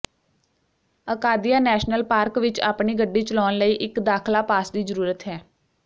Acadia national park ਵਿਚ ਆਪਣੀ ਗੱਡੀ ਚਲਾਉਣ ਲਈ ਇਕ ਦਾਖਲਾ ਪਾਸ ਦੀ ਜ਼ਰੂਰਤ ਹੈ